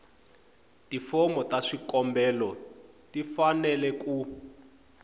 tifomo ta swikombelo tifanele ku